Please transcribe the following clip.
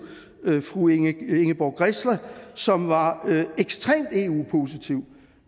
fru ingeborg grässle som var ekstremt eu positiv